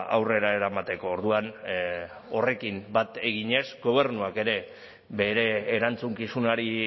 aurrera eramateko orduan horrekin bat eginez gobernuak ere bere erantzukizunari